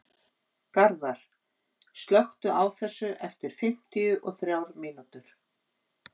Garðar, slökktu á þessu eftir fimmtíu og þrjár mínútur.